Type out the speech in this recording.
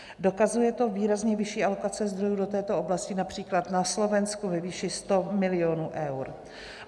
Dokazuje to výrazně vyšší alokace zdrojů do této oblasti, například na Slovensku ve výši 100 milionů eur.